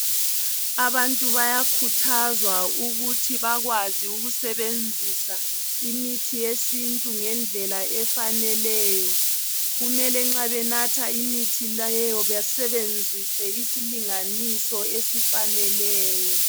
Abantu bayakhuthazwa ukuthi bakwazi ukusebenzisa imithi yesintu ngendlela efaneleyo kumele nxa benatha imithi leyo basebenzise isilinganiso esifaneleyo.